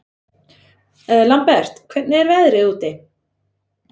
Lambert, hvernig er veðrið úti?